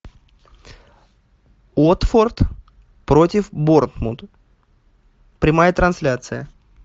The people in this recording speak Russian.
уотфорд против борнмут прямая трансляция